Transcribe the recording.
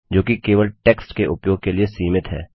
जो कि केवल टेक्स्ट के उपयोग के लिए सीमित है